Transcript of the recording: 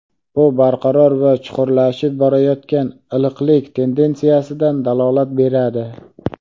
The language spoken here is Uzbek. Bu barqaror va chuqurlashib borayotgan iliqlik tendensiyasidan dalolat beradi.